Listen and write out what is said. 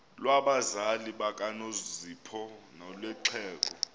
lwabazali bakanozpho nolwexhego